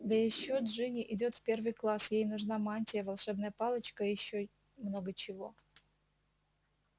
да ещё джинни идёт в первый класс ей нужна мантия волшебная палочка и ещё много чего